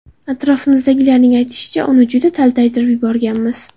Atrofimizdagilarning aytishicha, uni juda taltaytirib yuborganmiz.